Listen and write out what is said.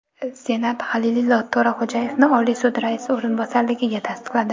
Senat Halilillo To‘raxo‘jayevni Oliy sud raisi o‘rinbosarligiga tasdiqladi.